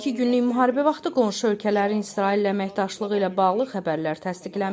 12 günlük müharibə vaxtı qonşu ölkələrin İsraillə əməkdaşlığı ilə bağlı xəbərlər təsdiqlənməyib.